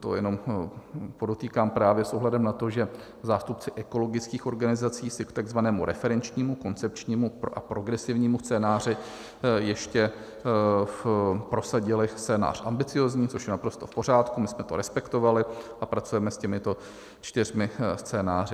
To jenom podotýkám právě s ohledem na to, že zástupci ekologických organizací si k takzvanému referenčnímu, koncepčnímu a progresivnímu scénáři ještě prosadili scénář ambiciózní, což je naprosto v pořádku, my jsme to respektovali a pracujeme s těmito čtyřmi scénáři.